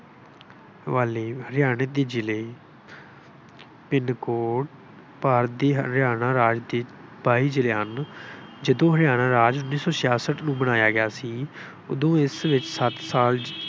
ਹਵਾਲੇ- ਹਰਿਆਂਣਾ ਦੇ ਜਿਲ੍ਹੇ pin code ਭਾਰਤੀ ਹਰਿਆਣਾ ਰਾਜ ਦੇ ਬਾਈ ਜਿਲ੍ਹੇ ਹਨ। ਜਦੋਂ ਹਰਿਆਣਾ ਰਾਜ ਉੱਨੀ ਸੌ ਛਿਆਸਠ ਨੂੰ ਬਣਾਇਆ ਗਿਆ ਸੀ। ਉਦੋਂ ਇਸ ਵਿੱਚ ਸੱਤ ਸਾਲ